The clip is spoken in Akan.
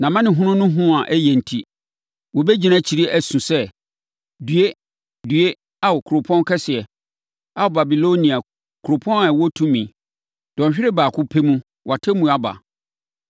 Nʼamanehunu no hu a ɛyɛ enti, wɔbɛgyina akyiri asu sɛ, “ ‘Due! Due, Ao, kuropɔn kɛseɛ, Ao Babilonia, kuropɔn a ɛwɔ tumi! Dɔnhwere baako pɛ mu, wʼatemmuo aba.’